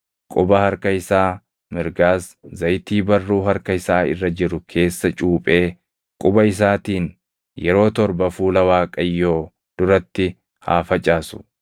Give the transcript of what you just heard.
quba harka isaa mirgaas zayitii barruu harka isaa irra jiru keessa cuuphee quba isaatiin yeroo torba fuula Waaqayyoo duratti haa facaasu.